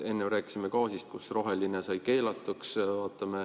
Enne me rääkisime gaasist, et roheline sai keelatuks.